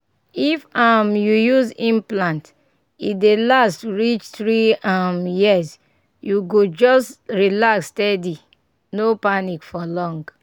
if um you use implant e dey last reach three um years — you go just relax steady no panic for long.